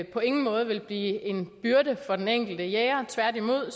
på ingen måde vil blive en byrde for den enkelte jæger tværtimod